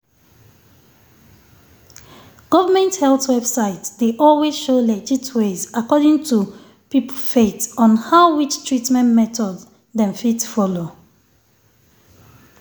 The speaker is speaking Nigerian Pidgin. government health website dey always show legit ways according to peope faith on how which treatment method dem fit follow.